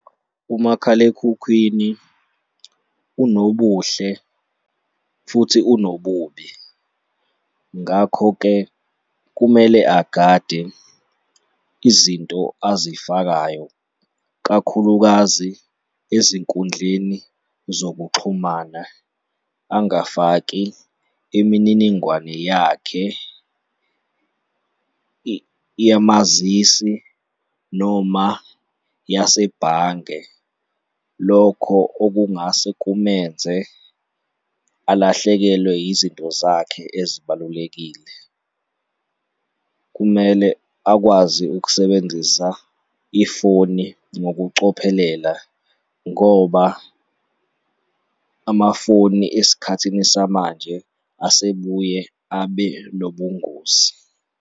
Umakhalekhukhwini unobuhle futhi unobubi. Ngakho-ke, kumele agade izinto azifakayo kakhulukazi ezinkundleni zokuxhumana. Angafaki imininingwane yakhe yemazisi noma yasebhange. Lokho okungase kumenze alahlekelwe izinto zakhe ezibalulekile. Kumele akwazi ukusebenzisa ifoni ngokucophelela ngoba amafoni esikhathini samanje asebebuye abe nobungozi.